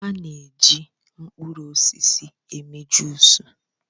A na-eji mkpụrụ osisi eme jụis.